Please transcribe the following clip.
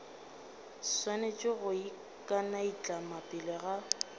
swanetše go ikanaitlama pele ga